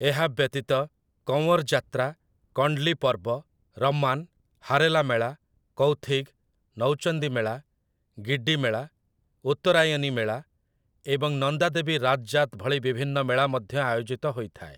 ଏହା ବ୍ୟତୀତ, କଁୱର୍ ଯାତ୍ରା, କଣ୍ଡଲୀ ପର୍ବ, ରମ୍ମାନ୍, ହାରେଲା ମେଳା, କୌଥିଗ୍, ନୌଚନ୍ଦୀ ମେଳା, ଗିଡ୍ଡି ମେଳା, ଉତ୍ତରାୟନୀ ମେଳା ଏବଂ ନନ୍ଦା ଦେବୀ ରାଜ୍ ଯାତ୍ ଭଳି ବିଭିନ୍ନ ମେଳା ମଧ୍ୟ ଆୟୋଜିତ ହୋଇଥାଏ ।